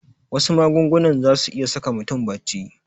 Wasu magungunan zasu iya saka mutum bacci